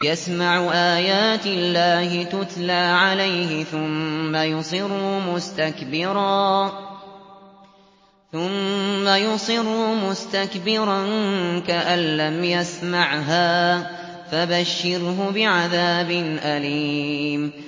يَسْمَعُ آيَاتِ اللَّهِ تُتْلَىٰ عَلَيْهِ ثُمَّ يُصِرُّ مُسْتَكْبِرًا كَأَن لَّمْ يَسْمَعْهَا ۖ فَبَشِّرْهُ بِعَذَابٍ أَلِيمٍ